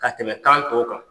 Ka tɛmɛ kan tɔw kan.